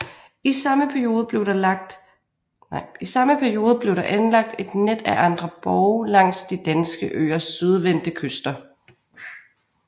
I samme periode blev der anlagt et net af andre borge langs de danske øers sydvendte kyster